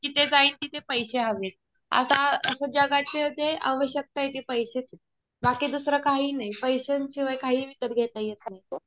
जिथे जाईल तिथे पैशे हवेत. आता असं जगाची ते आवश्यकता आहे ते पैसेच. बाकी दुसरं काही नाही. पैशांशिवाय काही विकत घेता येत नाही.